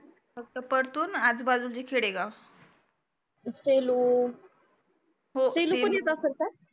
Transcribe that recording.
फक्त परतुरआणि आजूबाजूच्या खेडेगाव सेलु